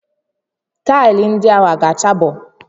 Taịlị ndị ahụ ọ ga-chabo?